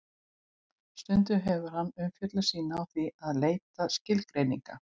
Stundum hefur hann umfjöllun sína á því að leita skilgreininga.